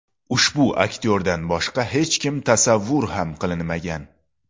Ushbu aktyordan boshqa hech kim tasavvur ham qilinmagan.